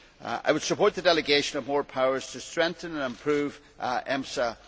I would support the delegation of more powers to strengthen and improve EMSA.